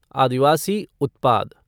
आदिवासी उत्पाद